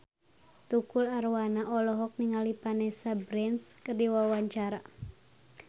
Tukul Arwana olohok ningali Vanessa Branch keur diwawancara